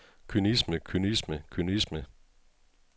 kynisme kynisme kynisme